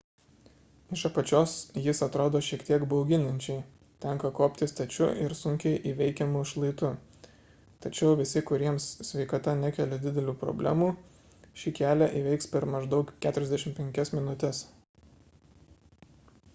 iš apačios jis atrodo šiek tiek bauginančiai tenka kopti stačiu ir sunkiai įveikiamu šlaitu tačiau visi kuriems sveikata nekelia didelių problemų šį kelią įveiks per maždaug 45 minutes